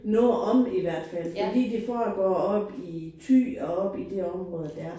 Noget om i hvert fald. Fordi det foregår oppe i Thy og oppe i det område der